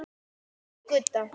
Elsku Gudda.